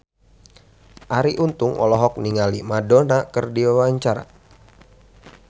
Arie Untung olohok ningali Madonna keur diwawancara